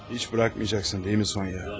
Heç buraxmayacaqsın, deyilmi Sonya?